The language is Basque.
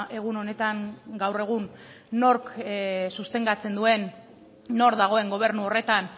egun honetan gaur egun nork sustengatzen duen nor dagoen gobernu horretan